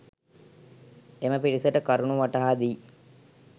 එම පිරිසට කරුණු වටහා දී